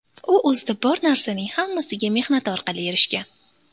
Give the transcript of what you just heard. U o‘zida bor narsaning hammasiga mehnati orqali erishgan.